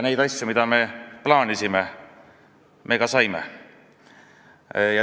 Neid asju, mida me plaanisime, me ka saime.